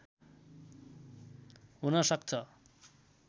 हुन सक्छ।